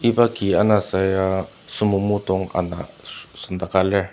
iba ki anasa ya sumomo dong ana so sendaka lir.